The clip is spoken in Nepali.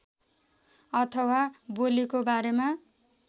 अथवा बोलीको बारेमा